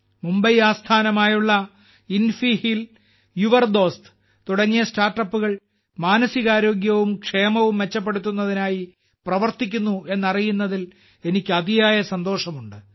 മുംബൈ ആസ്ഥാനമായുള്ള Infiheal your Dost തുടങ്ങിയ സ്റ്റാർട്ടപ്പുകൾ മാനസികാരോഗ്യവും ക്ഷേമവും മെച്ചപ്പെടുത്തുന്നതിനായി പ്രവർത്തിക്കുന്നു എന്നറിയുന്നതിൽ എനിക്ക് അതിയായ സന്തോഷമുണ്ട്